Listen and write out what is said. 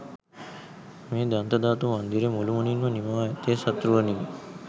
මේ දන්තධාතු මන්දිරය මුළුමනින්ම නිමවා ඇත්තේ සත් රුවනිනි